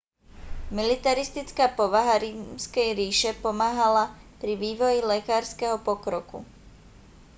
militaristická povaha rímskej ríše pomáhala pri vývoji lekárskeho pokroku